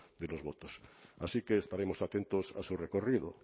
de los votos así que estaremos atentos a su recorrido